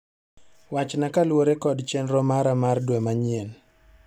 Wachna kaluwore kod chenro mara mar dwe manyien.